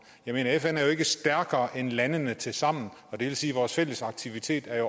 fn er jo ikke stærkere end landene tilsammen og det vil sige at vores fælles aktiviteter